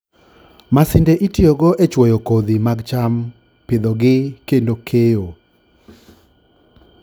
Masinde itiyogo e chwoyo kodhi mag cham, pidhogi, kendo keyo.